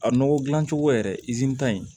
A nɔgɔ gilan cogo yɛrɛ ta in